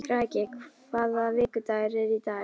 Kraki, hvaða vikudagur er í dag?